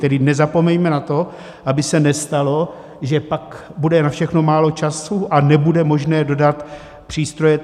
Tedy nezapomeňme na to, aby se nestalo, že pak bude na všechno málo času a nebude možné dodat přístroje.